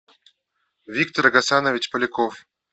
виктор гасанович поляков